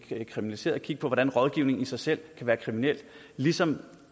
kriminaliseret se på hvordan rådgivningen i sig selv kan være kriminel ligesom